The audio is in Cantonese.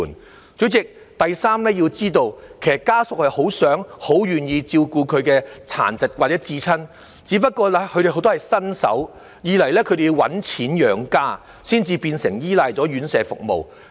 代理主席，第三，大家要知道，其實家屬很想、亦很願意照顧他們有殘疾的至親，只不過當中有很多人是新手，而且要掙錢養家，所以唯有依賴院舍服務。